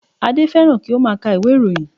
Adé fẹ́ràn kí ó má a ka ìwé ìròyìn